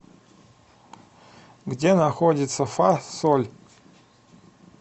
где находится фа соль